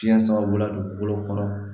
Fiɲɛ sama bɔla dugukolo kɔnɔ